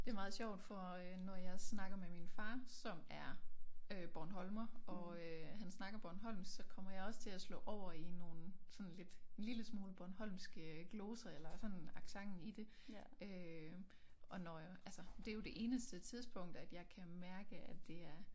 Det meget sjovt for øh når jeg snakker med min far som er øh bornholmer og øh han snakker bornholmsk så kommer jeg også til at slå over i nogle sådan lidt en lille smule bornholmske gloser eller sådan accenten i det øh og når altså det jo det eneste tidspunkt at jeg kan mærke at det er